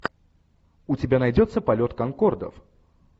у тебя найдется полет конкордов